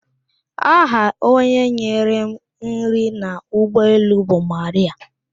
Aha onye nyere m nri n'ụgbọelu bụ Marịạ.